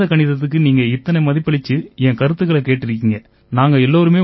அதாவது வேத கணிதத்துக்கு நீங்க இத்தனை மதிப்பளிச்சு என் கருத்துக்களைக் கேட்டிருக்கீங்க